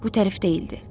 Bu tərif deyildi.